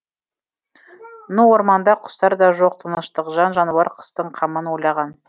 ну орманда құстар да жоқ тыныштық жан жануар қыстың қамын ойлаған